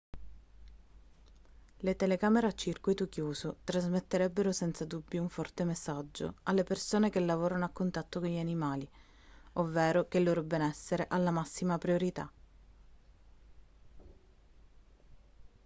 le telecamere a circuito chiuso trasmetterebbero senza dubbio un forte messaggio alle persone che lavorano a contatto con gli animali ovvero che il loro benessere ha la massima priorità